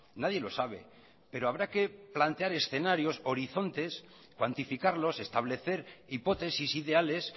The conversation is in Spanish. nadie lo sabe pero habrá que plantear escenarios horizontes cuantificarlos establecer hipótesis ideales